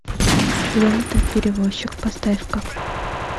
лента перевозчик поставь ка